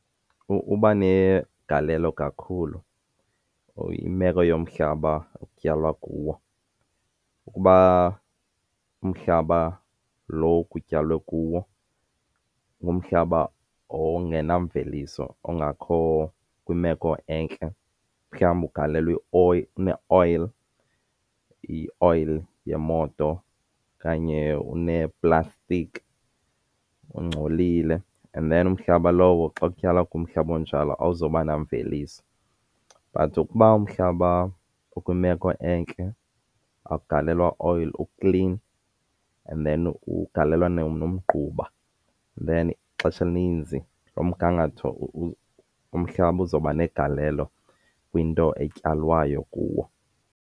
Uba negalelo kakhulu imeko yomhlaba okutyalwa kuwo. Ukuba umhlaba lo kutyalwe kuwo ngumhlaba ongena mveliso, ongakho kwimeko entle, mhlawumbi ugalelwe une-oil, ioyile yemoto okanye uneeplastiki ungcolile, and then umhlaba lowo xa kutyalwa kumhlaba onjalo awuzoba namveliso. But ukuba umhlaba ukwimeko entle, awugalelwa oil, uklin, and then ugalelwa nomgquba and then ixesha elininzi loo mgangatho umhlaba uzawuba negalelo kwinto etyalwayo kuwo.